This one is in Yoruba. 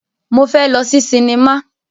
Mo fẹ́ lọ sí sinimá.